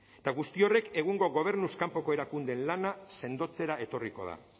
eta horrek guztiak egungo gobernuz kanpoko erakundeen lana sendotzera etorriko da